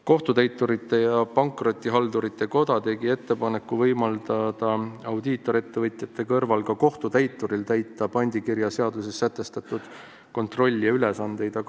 Kohtutäiturite ja Pankrotihaldurite Koda tegi ettepaneku võimaldada audiitorettevõtjate kõrval ka kohtutäituritel täita pandikirjaseaduses sätestatud kontrollija ülesandeid.